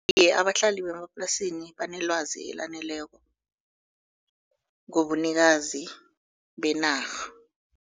Iye, abahlali bemaplasini banelwazi elaneleko ngobunikazi benarha.